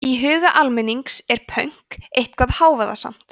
í huga almennings er pönk eitthvað hávaðasamt